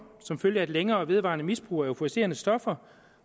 som følge af et længere og vedvarende misbrug af euforiserende stoffer